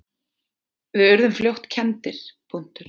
Við urðum fljótt kenndir.